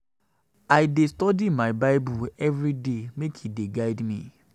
I dey study my um Bible everyday make e dey guide me.